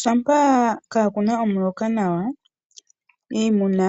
Shampa kaakuna omuloka nawa iimuna